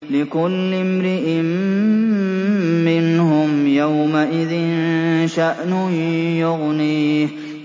لِكُلِّ امْرِئٍ مِّنْهُمْ يَوْمَئِذٍ شَأْنٌ يُغْنِيهِ